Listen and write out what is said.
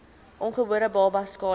ongebore babas skade